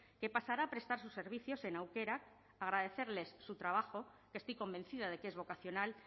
que pasará a prestar sus servicios en aukerak agradecerles su trabajo que estoy convencida de que es vocacional